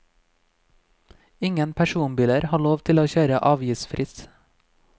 Ingen personbiler har lov til å kjøre avgiftsfritt.